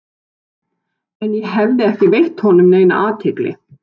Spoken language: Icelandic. En ég hafði ekki veitt honum neina athygli.